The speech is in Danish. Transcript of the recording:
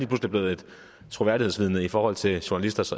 pludselig blevet et troværdighedsvidne i forhold til journalisters